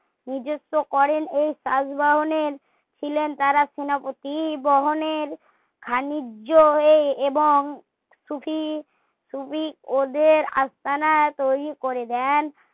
নিযুক্ত করেন এই চাষ বাহনের ছিলেন তারা সেনাপতি বহনের খাণিজ্য হয়ে এবং সুফি সুফী ওদের আস্তানা তৈরী করে দেন